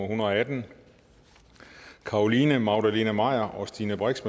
hundrede og atten carolina magdalene maier og stine brix